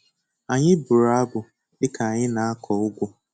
Anyị bụrụ abụ dika anyị na-akụ ugu.